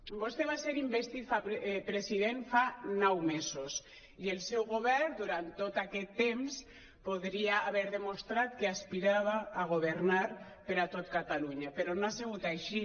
vostè va ser investit president fa nou mesos i el seu govern durant tot aquest temps podria haver demostrat que aspirava a governar per a tot catalunya però no ha sigut així